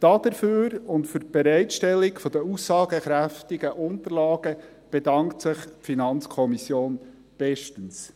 Dafür und für die Bereitstellung der aussagekräftigen Unterlagen bedankt sich die FiKo bestens.